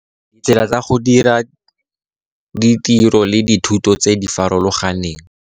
Ditsela tsa go dira ditiro le dithuto tse di farologaneng.